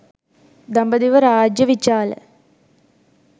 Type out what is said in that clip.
දඹදිව රාජ්‍ය විචාල